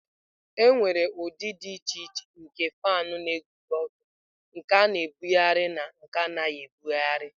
Enwere ụdị dị iche iche nke fan na-eguzo ọtọ, nke a na-ebugharị na nke anaghị ebugharị.